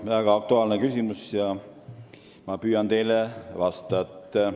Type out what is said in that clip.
See on väga aktuaalne küsimus ja ma püüan teile vastata.